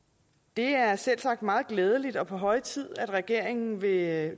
det er selvsagt meget glædeligt og på høje tid at regeringen med